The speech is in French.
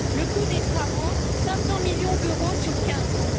le coût des travaux serait de 500 millions d'euros sur quinze ans.